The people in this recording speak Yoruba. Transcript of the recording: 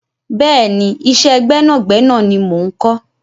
Bẹ́ẹ̀ni, iṣẹ́ gbẹ́nàgbẹ́nà ni mo ń kọ́.